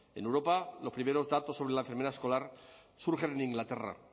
en europa los primeros datos sobre la enfermera escolar surgen en inglaterra